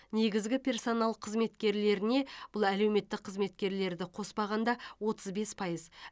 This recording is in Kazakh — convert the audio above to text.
негізгі персонал қызметкерлеріне бұл әлеуметтік қызметкерді қоспағанда отыз бес пайыз